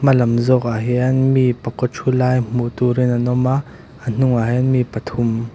hma lam zawk ah hian mi pakaw thu lai hmuh tur in an awm a a hnungah hian mi pathum--